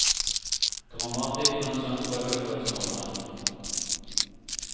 Dramatikeren så en prøve før sommeren.